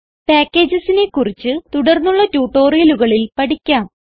packagesനെ കുറിച്ച് തുടർന്നുള്ള ട്യൂട്ടോറിയലുകളിൽ പഠിക്കാം